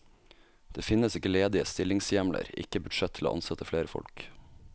Det finnes ikke ledige stillingshjemler, ikke budsjett til å ansette flere folk.